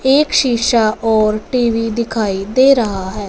एक शीशा और टी_वी दिखाई दे रहा है।